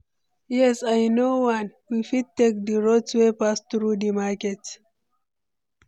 Yes, i know one, we fit take di route wey pass through di market.